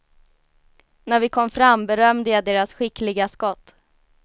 När vi kom fram berömde jag deras skickliga skott.